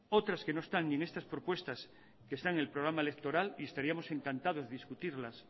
otras que no están ni en estas propuestas que están en el programa electoral y estaríamos encantados de discutirlas